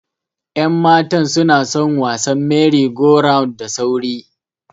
Yan matan sunason wasan mery go round da sauri.